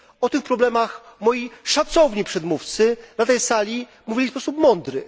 O tych problemach moi szacowni przedmówcy na tej sali mówili mądrze.